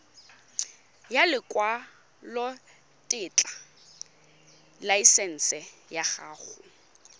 ya lekwalotetla laesense ya go